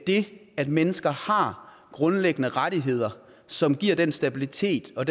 det at mennesker har grundlæggende rettigheder som giver den stabilitet og